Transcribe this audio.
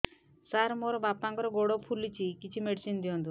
ସାର ମୋର ବାପାଙ୍କର ଗୋଡ ଫୁଲୁଛି କିଛି ମେଡିସିନ ଦିଅନ୍ତୁ